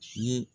Fiye